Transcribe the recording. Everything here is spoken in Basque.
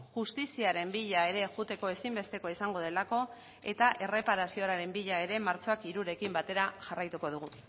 justiziaren bila ere joateko ezinbestekoa izango delako eta erreparazioaren bila ere martxoak hirurekin batera jarraituko dugu